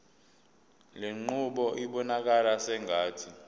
lenqubo ibonakala sengathi